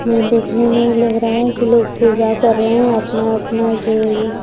यह देखने में लग रहा है कि लोग पूजा कर रहे हैं अपने-अपने जो--